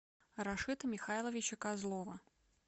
рашита михайловича козлова